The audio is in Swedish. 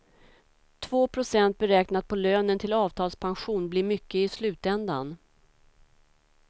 Två procent beräknat på lönen till avtalspension blir mycket i slutändan.